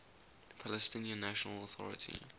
palestinian national authority